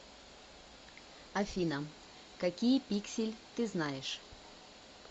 афина какие пиксель ты знаешь